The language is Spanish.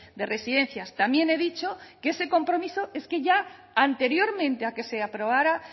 de residencias también he dicho que ese compromiso es que ya anteriormente a que se aprobara